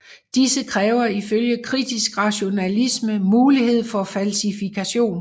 Disse kræver ifølge kritisk rationalisme mulighed for falsifikation